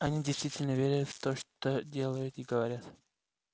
они действительно верят в то что делают и говорят